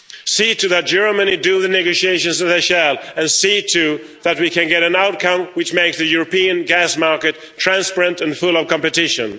See to it that Germany does the negotiations, as it shall, and see to it that we can get an outcome which makes the European gas market transparent and full of competition.